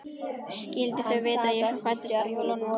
Skyldu þau vita að Jesús fæddist á jólunum?